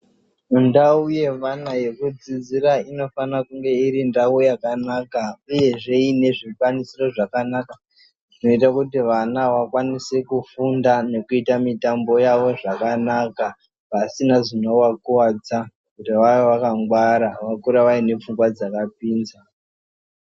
Ndau yevana yekudzidzira inofana kunge iri ndau yakanaka uyezve ine zvikwanisiro zvakanaka zvinoite kuti vana vakwanise kufunda nekuita mitambo yavo zvakanaka vasina zvinovakuwadza kuti vave vakangwara vakuru vaine pfungwa dzakapinza.